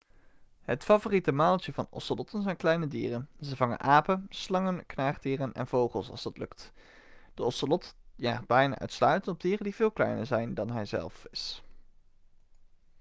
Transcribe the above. het favoriete maaltje van ocelotten zijn kleine dieren ze vangen apen slangen knaagdieren en vogels als dat lukt de ocelot jaagt bijna uitsluitend op dieren die veel kleiner zijn dan hij zelf is